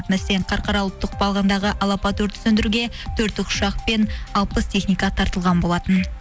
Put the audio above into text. қарқаралы ұлттық бағындағы алапат өртті сөндіруге төрт тікұшақ пен алпыс техника тартылған болатын